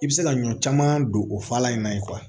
I bɛ se ka ɲɔ caman don o fala in na